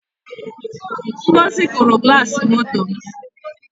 ngọzi kụrụ glasi moto m